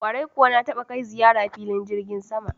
Kwarai kuwa na taba kai ziyara filin jirgin sama.